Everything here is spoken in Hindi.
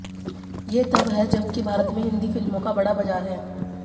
ये तब है जबकि भारत में हिंदी फिल्मों का बड़ा बाज़ार है